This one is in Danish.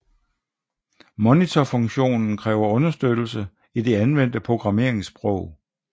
Monitorfunktionen kræver understøttelse i det anvendte programmeringssprog